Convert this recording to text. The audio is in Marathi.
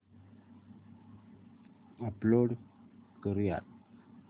अपलोड करुयात